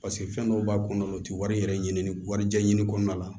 Paseke fɛn dɔw b'a kɔnɔna o tɛ wari yɛrɛ ɲini warijɛ ɲini kɔnɔna la